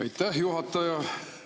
Aitäh, juhataja!